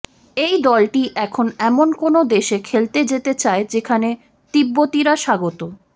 এই দলটি এখন এমন কোনও দেশে খেলতে যেতে চায় যেখানে তিব্বতিরা স্বাগত